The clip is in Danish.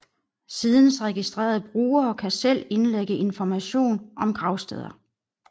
Sidens registrerede brugere kan selv indlægge information om gravsteder